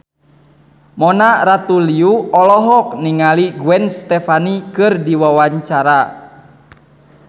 Mona Ratuliu olohok ningali Gwen Stefani keur diwawancara